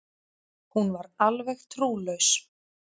Hún var alveg trúlaus.